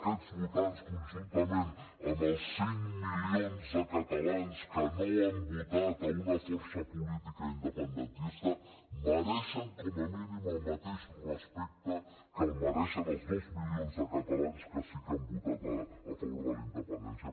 aquests votants conjuntament amb els cinc milions de catalans que no han votat una força política independentista mereixen com a mínim el mateix respecte que mereixen els dos milions de catalans que sí que han votat a favor de la independència